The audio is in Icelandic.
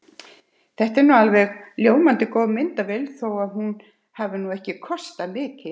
Þetta er alveg ljómandi góð myndavél þó að hún hafi nú ekki kostað mikið.